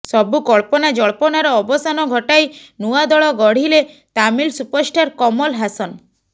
ସବୁ କଳ୍ପନାଜଳ୍ପନାର ଅବସାନ ଘଟାଇ ନୂଆ ଦଳ ଗଢ଼ିଲେ ତାମିଲ ସୁପରଷ୍ଟାର କମଲ ହାସନ